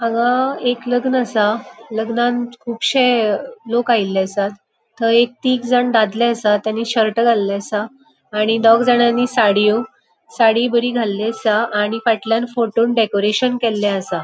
हांगा एक लग्न असा लग्नान कुबशे अ लोक आयले असात. थय एक तीग जाण दादले असात. तानी शर्ट घाल्ले असा. आणि दोग जाणानी साडीयों साड़ी बरी घाल्ली असा आणि फाटल्यान फ़ोटोन डेकोरेशन केल्ले असा.